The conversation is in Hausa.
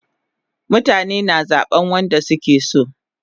Mutane na zaban wanda suke so